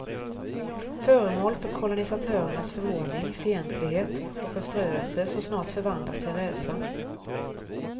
Föremål för kolonisatörernas förvåning, fientlighet och förströelse som snart förvandlas till rädsla.